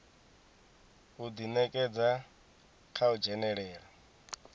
u ḓinekedza kha u dzhenelela